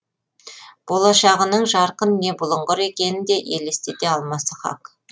болашағының жарқын не бұлыңғыр екенін де елестете алмасы хақ